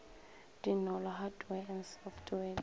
dinolo hardware and software di